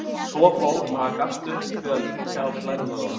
Svo fór að hann gafst upp við að mýkja á mér lærvöðvana.